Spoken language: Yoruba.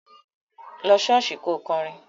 Lọ ṣọ́ọ̀ṣì kò kọrin!